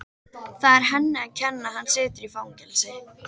Það er henni að kenna að hann situr í fangelsi.